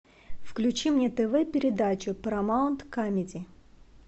включи мне тв передачу парамаунт камеди